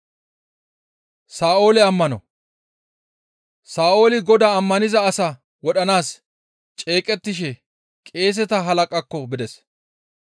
Sa7ooli Godaa ammaniza asaa wodhanaas ceeqettishe qeeseta halaqaakko bides.